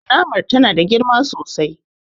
Kunamar ta na da girma sosai